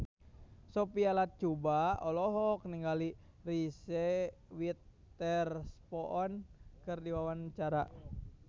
Sophia Latjuba olohok ningali Reese Witherspoon keur diwawancara